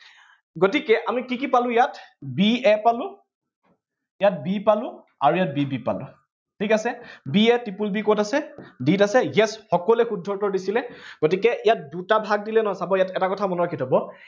গতিকে আমি কি কি পালো ইয়াত, b a পালো ইয়াত b পালো, আৰু ইয়াত b b পালো। ঠিক আছে b a, triple b কত আছে, d ত আছে, ইয়াত সকলোৱে শুদ্ধ উত্তৰ দিছিলে, গতিকে ইয়াত দুটা ভাগ দিলে নহব, চাব এটা কথা মনত ৰাাখি থব